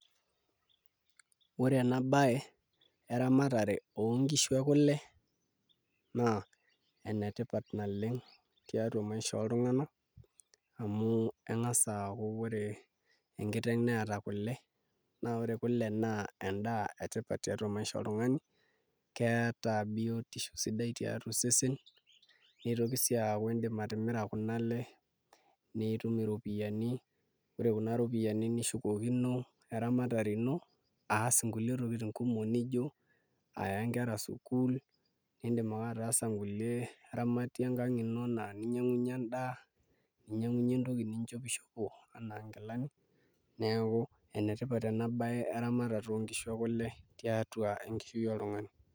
Ore ena baye eramatare oonkishu ekule naa enetipat naleng' tiatua maisha oltung'anak amu eng'as aaku enkiteng' neeta kule naa ore kule naa endaa etipat tiatua maisha oltung'ani keeta biotisho sidai tiatua osesen nitoki sii aaku indim atimira kuna ale nitum iropiyiani ore kuna ropiyiani neshukokino eramatare ino aas nkulie tokitin kumok nijio aya kera sukuul niidim ake ataasa nkulie ramatie enkang' ino enaa eninyiang'unyie endaa ninyiang'unyie entoki nishopishopo enaa nkilani neeku enetipat ena baye eramatata oonkishu ekule tiatua enkishui oltung'ani.